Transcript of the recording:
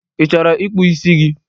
Ị chọrọ ịkpụ isi gi?